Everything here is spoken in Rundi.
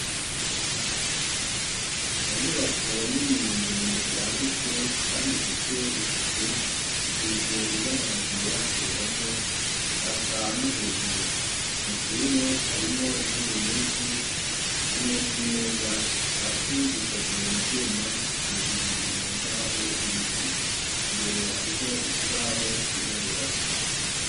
Mu nyubako nini ndende yagutse kandi ifise isuku isize ibara ryera ku ruhome yaka no hejuru mw'ishure harimwo intebe nyishi hamwe n'imeza hasi zikozwe mu vyuma hejuru ni mu mbaho z'ibiti imbere hariho ikibaho cirabura.